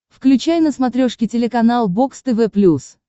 включай на смотрешке телеканал бокс тв плюс